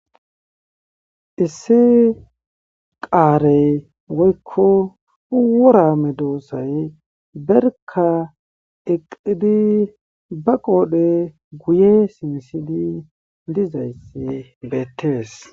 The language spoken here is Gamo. issi qaarey woykko uworame doossay berka eqidi ba qoodhe guye simsili lizayssi beettees